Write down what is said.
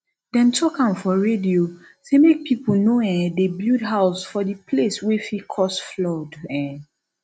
dem talk am for radio say make pipo no um dey build house for di place wey fit cause flood um